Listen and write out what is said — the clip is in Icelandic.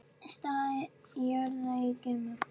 Staða jarðar í geimnum